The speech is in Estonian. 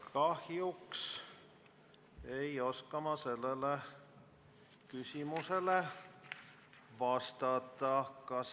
Kahjuks ei oska ma sellele küsimusele vastata.